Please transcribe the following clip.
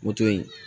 Moto ye